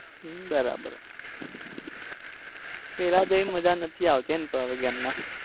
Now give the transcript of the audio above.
હમ બરાબર પેલા જેવી મજા નથી આવતી હે ને હવે game માં